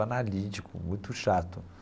Analítico, muito chato.